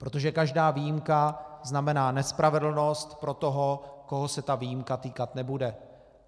Protože každá výjimka znamená nespravedlnost pro toho, koho se ta výjimka týkat nebude.